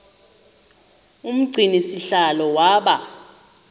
umgcini sihlalo waba